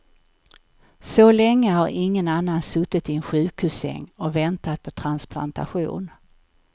Så länge har ingen annan suttit i en sjukhussäng och väntat på transplantation.